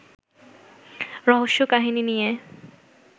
রহস্যকাহিনী নিয়ে